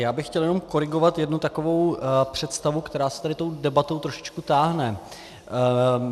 Já bych chtěl jenom korigovat jednu takovou představu, která se tady tou debatou trošičku táhne.